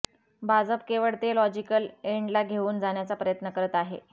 भाजप केवळ ते लॉजिकल एंडला घेऊन जाण्याचा प्रयत्न करत आहे